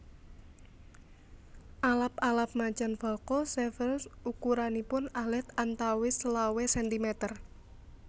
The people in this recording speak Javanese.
Alap alap Macan Falco severus ukuranipun alit antawis selawe sentimeter